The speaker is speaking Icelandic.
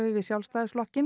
við Sjálfstæðisflokk